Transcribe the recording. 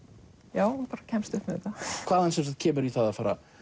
já hún bara kemst upp með þetta hvaðan kemurðu í það að fara að